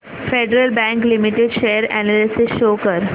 federal bank limited share analysis show कर